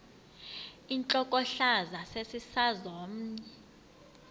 intlokohlaza sesisaz omny